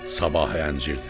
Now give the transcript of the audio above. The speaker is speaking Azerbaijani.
Sabah ənciridir.